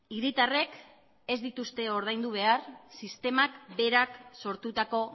hiritarrek ez dituzte ordaindu behar sistemak berak sortutako